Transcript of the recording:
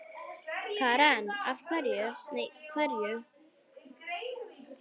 Karen: Hverju?